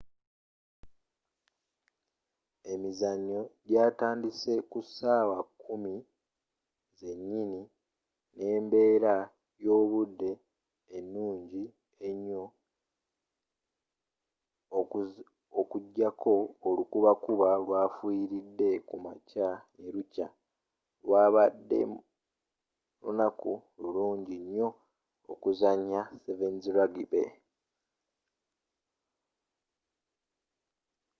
emizannyo gyatandise ku saawa 10:00 n'embeera y'obudde enungi enyo okujjako olukuba kuba olwafuyiridde ku makya ne lukya lwabadde lunaku lulungi nyo okuzanya 7’s rugby